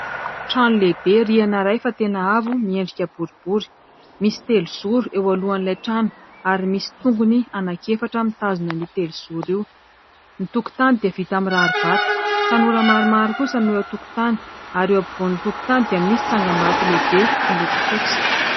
Trano lehibe rihana iray fa tena avo miendrika boribory, misy telo zoro eo alohan'ilay trano ary misy tongony anaky efatra mitazona io telo zoro io ny tokontany dia vita amin'ny rary vato, tanora maromaro kosa no eo antokontany ary eo ampivoan'ny tokontany dia misy tsangambato lehibe miloko fotsy.